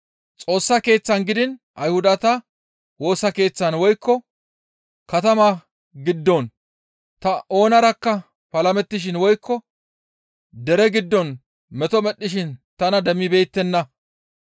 Xoossa Keeththan gidiin Ayhudata Woosa Keeththan woykko katama giddon ta oonarakka palamettishin woykko dere giddon meto medhdhishin tana demmibeettenna.